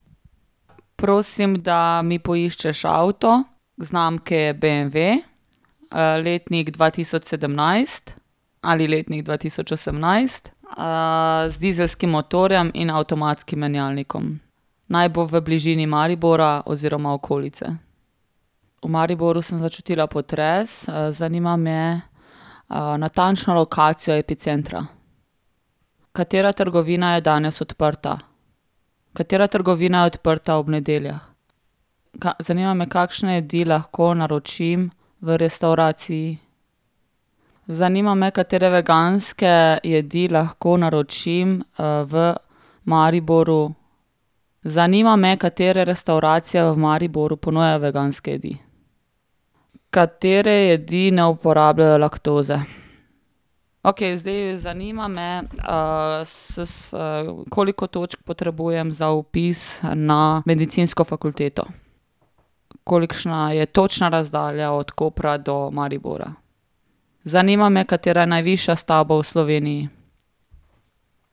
Prosim, da mi poiščeš avto znamke BMW, letnik dva tisoč sedemnajst ali letnik dva tisoč osemnajst, z dizelskim motorjem in avtomatskim menjalnikom. Naj bo v bližini Maribora oziroma okolice. V Mariboru sem začutila potres, zanima me, natančno lokacijo epicentra. Katera trgovina je danes odprta? Katera trgovina je odprta ob nedeljah? zanima me, kakšne jedi lahko naročim v restavraciji? Zanima me, katere veganske jedi lahko naročim, v Mariboru? Zanima me, katere restavracije v Mariboru ponujajo veganske jedi? Katere jedi ne uporabljajo laktoze? Okej, zdaj zanima me, s s, koliko točk potrebujem za vpis na medicinsko fakulteto? Kolikšna je točna razdalja od Kopra do Maribora? Zanima me, katera je najvišja stavba v Sloveniji?